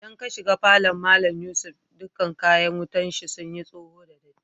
Idan ka shiga falon Mallam Yusuf dukan kayakin wutan shi sun yi soho da datti.